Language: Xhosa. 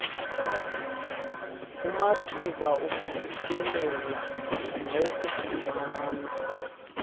kumathuba okufikelela nawokufumana